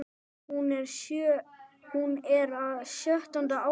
Hún er á sjöunda ári